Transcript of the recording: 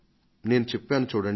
నేను చెప్పాను చూడండి